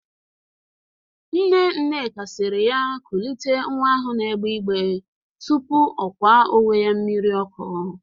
Nne Nneka siri ya kulite nwa ahụ na-egbe igbee tupu ọ kwa onwe ya mmiri ọkụ.